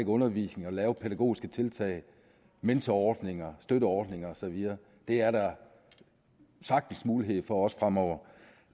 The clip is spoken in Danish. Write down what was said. undervisningen og lave pædagogiske tiltag mentorordninger og støtteordninger og så videre det er der sagtens mulighed for også fremover